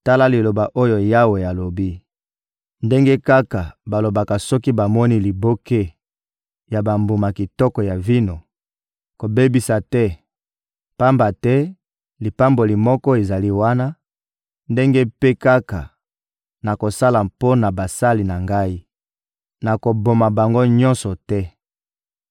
Tala liloba oyo Yawe alobi: «Ndenge kaka balobaka soki bamoni liboke ya bambuma kitoko ya vino: ‹Kobebisa te, pamba te lipamboli moko ezali wana,› ndenge mpe kaka nakosala mpo na basali na Ngai: nakoboma bango nyonso te.